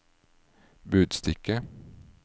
budstikke